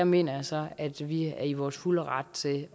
mener jeg så at vi er i vores fulde ret til